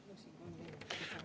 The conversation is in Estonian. Palun!